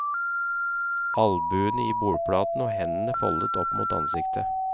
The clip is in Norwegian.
Albuene i bordplaten og hendene foldet opp mot ansiktet.